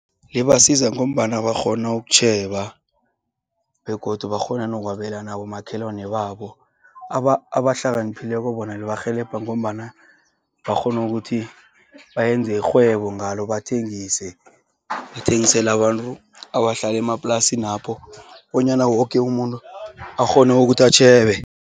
Ibasiza ngombana bakghona ukutjheba, begodu bakghona nokwabela nabomakhelwani babo. Abahlakaniphileko bona lirhelebha ngombana bakghonu ukuthi bayenze ikghwebo ngalo bathengise. Bathengisela abantu, abahlale emaplasinapho, bonyana woke umuntu akghone ukuthi atjheje.